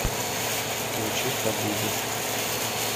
включи хабиби